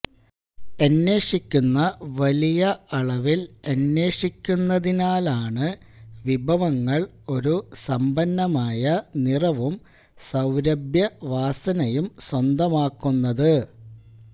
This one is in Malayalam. എന്വേഷിക്കുന്ന വലിയ അളവിൽ എന്വേഷിക്കുന്നതിനാലാണ് വിഭവങ്ങൾ ഒരു സമ്പന്നമായ നിറവും സൌരഭ്യവാസനയും സ്വന്തമാക്കുന്നത്